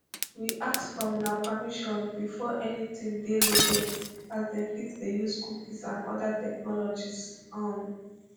we ask for una permission before anytin dey loaded as dem fit dey use cookies and oda technologies um